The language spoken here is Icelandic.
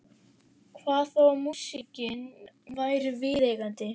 Hvað þá að músíkin væri viðeigandi.